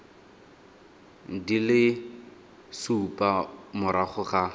di le supa morago ga